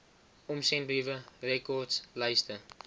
omsendbriewe rekords lyste